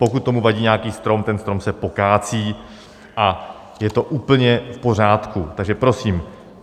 Pokud tomu vadí nějaký strom, ten strom se pokácí, a je to úplně v pořádku, takže prosím.